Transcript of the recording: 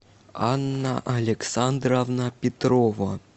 анна александровна петрова